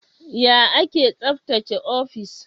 Ya ake tsaftace ofis?